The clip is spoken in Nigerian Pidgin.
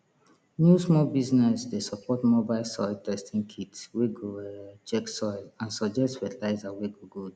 new small business dey support mobile soil testing kit wey go um check soil and suggest fertilizer we go good